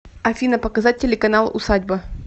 афина показать телеканал усадьба